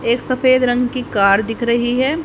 एक सफेद रंग की कार दिख रही है।